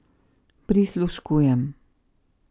Prisluškujem.